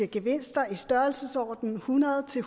gevinster i størrelsesordenen hundrede til